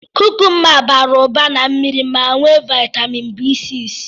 Kukumba bara ụba na mmiri ma nwee viatamịn B6.